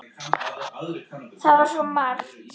Það var svo margt.